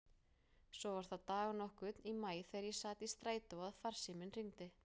Svo var það dag nokkurn í maí þegar ég sat í strætó að farsíminn hringdi.